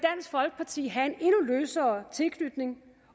folkeparti have en endnu løsere tilknytning